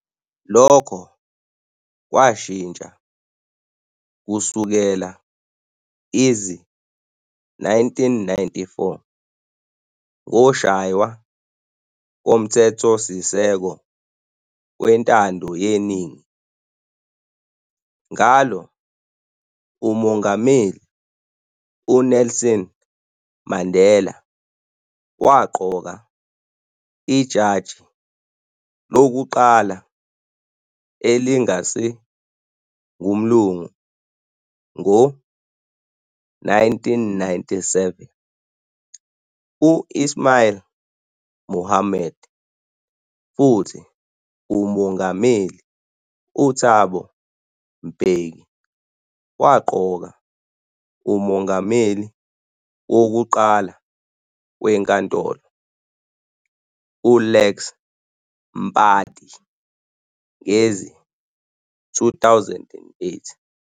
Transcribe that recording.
Lokho kwatshintsha kusukela izi-1994, ngoshaywa koMthethosisekelo wentandoyeningi, ngalo uMongameli uNelson Mandela waqoka ijaji lokuqala elingasi ngumlungu ngo-1997, u-Ismail Mahomed, futhi uMongameli uThabo Mbeki waqoka uMongameli wokuqala weNkantolo, uLex Mpati ngezi-2008.